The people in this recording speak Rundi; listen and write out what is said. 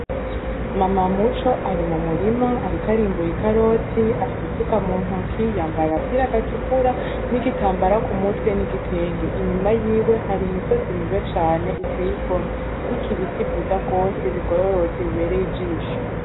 Mama Muco ari mu murima ariko arimbura ikaroti, afise isuka mu ntoke yambaye agapira gatukura n’igitambara ku mutwe, n’igitenge. Inyuma yiwe hari imisozi myiza cane iteye igomwe iriko ibiti vyiza gose bigororotse bibereye ijisho.